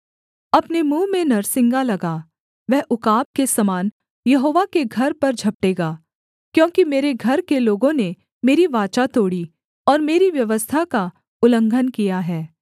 अपने मुँह में नरसिंगा लगा वह उकाब के समान यहोवा के घर पर झपटेगा क्योंकि मेरे घर के लोगों ने मेरी वाचा तोड़ी और मेरी व्यवस्था का उल्लंघन किया है